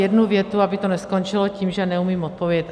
Jednu větu, aby to neskončilo tím, že neumím odpovědět.